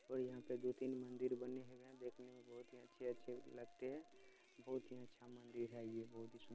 और यहाँ पे दो तीन मंदिर बने हुए हैं देखने में बहोत ही अच्छे-अच्छे लगते हैं बहोत ही अच्छा मंदिर है ये बहोत ही सुन --